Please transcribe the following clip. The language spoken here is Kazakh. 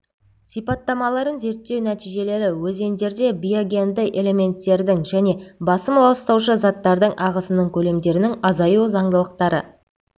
сипаттамаларын зерттеу нәтижелері өзендерде биогенді элементтердің және басым ластаушы заттардың ағысының көлемдерінің азаю заңдылықтары